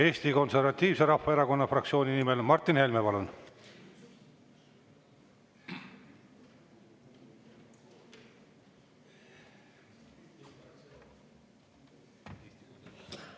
Eesti Konservatiivse Rahvaerakonna fraktsiooni nimel Martin Helme, palun!